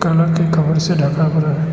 Colour के cover से ढका पड़ा है।